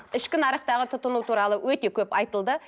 ішкі нарықтағы тұтыну туралы өте көп айтылды